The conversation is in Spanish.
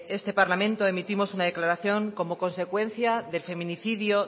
este parlamento emitimos una declaración como consecuencia del feminicidio